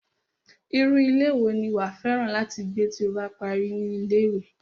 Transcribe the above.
Irú ilé wo ni wàá fẹ́ràn láti gbé tí o bá parí ní ilé-ìwé?